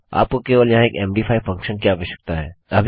आपको केवल यहाँ एक मद5 फंक्शन की आवश्यकता है